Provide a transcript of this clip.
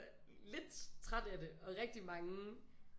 Lidt trætte af det og rigtig mange